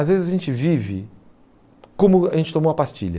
Às vezes a gente vive como a gente tomou a pastilha.